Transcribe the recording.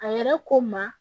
A yɛrɛ ko n ma